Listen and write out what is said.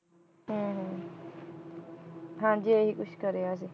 ਹਮ ਹਮ ਹਾਂਜੀ ਇਹੀ ਕੁਛ ਕਰਿਆ ਸੀ।